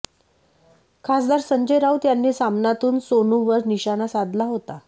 खासदार संजय राऊत यांनी सामनातून सोनूवर निशाना साधला होता